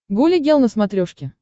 гуля гел на смотрешке